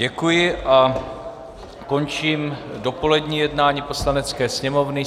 Děkuji a končím dopolední jednání Poslanecké sněmovny.